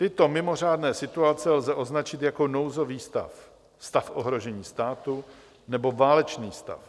Tyto mimořádné situace lze označit jako nouzový stav, stav ohrožení státu nebo válečný stav.